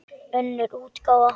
Önnur útgáfa.